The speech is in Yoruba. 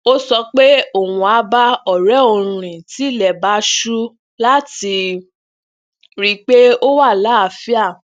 ó sọ pé òun á bá ọrẹ òun rìn tí ilè bá ṣú lati ri pe o wa laaafia